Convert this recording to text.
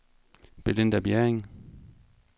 Belinda Bjerring